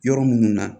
Yɔrɔ minnu na